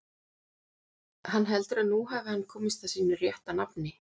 Hann heldur að nú hafi hann komist að sínu rétta nafni.